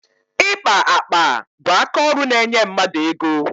Ịkpa akpa bụ akaọrụ na-enye mmadụ ego.